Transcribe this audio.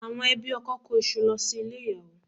Àwọn ẹbí ọkọ kó iṣu lọ sí ilé ìyàwó